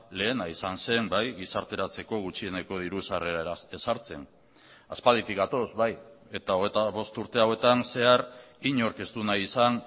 lehena izan zen bai gizarteratzeko gutxieneko diru sarrera ezartzen aspalditik gatoz bai eta hogeita bost urte hauetan zehar inork ez du nahi izan